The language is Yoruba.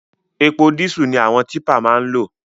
Epo dísù ni àwọn típà máa ń lò